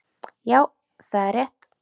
Já það er rétt.